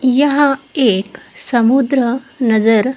यहाँ एक समुन्द्र नज़र--